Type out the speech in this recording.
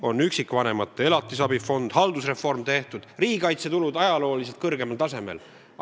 On üksikvanemate elatisabi fond, haldusreform on tehtud, riigikaitsekulud on ajalooliselt kõrgeimal tasemel.